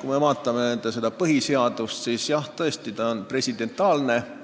Kui me vaatame nende põhiseaduse varianti, siis tõesti see lähtub